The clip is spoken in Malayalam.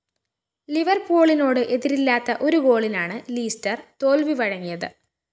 ലിവര്‍പൂളിനോട് എതിരില്ലാത്ത ഒരു ഗോളിനാണ് ലീസ്റ്റര്‍ തോല്‍വി വഴങ്ങിയത്